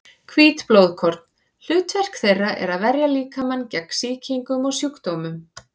Hvít blóðkorn: hlutverk þeirra er að verja líkamann gegn sýkingum og sjúkdómum.